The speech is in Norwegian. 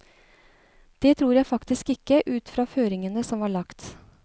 Det tror jeg faktisk ikke, ut fra føringene som var lagt.